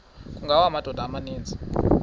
kungawa amadoda amaninzi